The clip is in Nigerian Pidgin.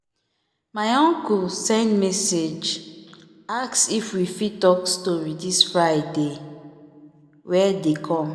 my uncle send message ask if we fit talk story this friday wer dey come